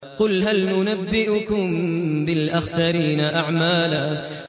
قُلْ هَلْ نُنَبِّئُكُم بِالْأَخْسَرِينَ أَعْمَالًا